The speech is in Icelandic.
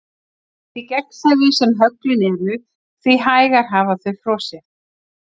Því gegnsærri sem höglin eru því hægar hafa þau frosið.